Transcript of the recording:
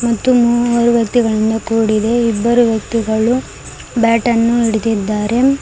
ಮತ್ತು ಮೂವರು ವ್ಯಕ್ತಿಗಳಿಂದ ಕೂಡಿದೆ ಇಬ್ಬರು ವ್ಯಕ್ತಿಗಳು ಬ್ಯಾಟ್ ಅನ್ನು ಹಿಡಿದಿದ್ದಾರೆ.